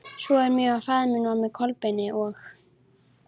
Svo mjög að faðir minn var með Kolbeini og